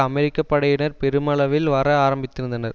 அமெரிக்க படையினர் பெருமளவில் வர ஆரம்பித்திருந்தனர்